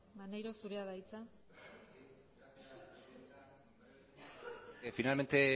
maneiro zurea da hitza finalmente